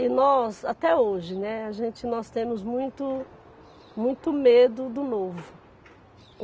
E nós, até hoje, né, a gente, nós temos muito, muito medo do novo.